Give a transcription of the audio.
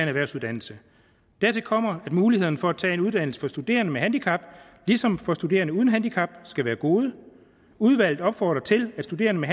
erhvervsuddannelse dertil kommer at mulighederne for at tage en uddannelse for studerende med handicap ligesom for studerende uden handicap skal være gode udvalget opfordrer til at studerende med